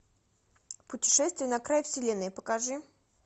путешествие на край вселенной покажи